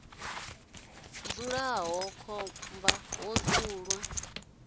dzulaho iḽla khomba ho dzulwa